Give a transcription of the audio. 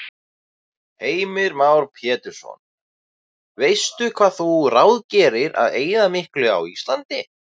Heimir Már Pétursson: Veistu hvað þú ráðgerir að eyða miklu á Íslandi?